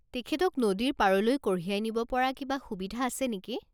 তেখেতক নদীৰ পাৰলৈ কঢ়িয়াই নিব পৰা কিবা সুবিধা আছে নেকি?